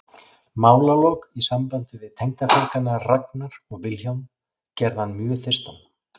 Málalok í sambandi við tengdafeðgana Ragnar og Vilhjálm gerðu hann mjög þyrstan.